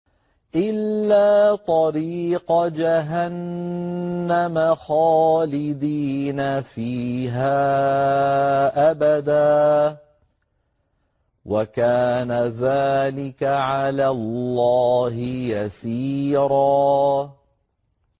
إِلَّا طَرِيقَ جَهَنَّمَ خَالِدِينَ فِيهَا أَبَدًا ۚ وَكَانَ ذَٰلِكَ عَلَى اللَّهِ يَسِيرًا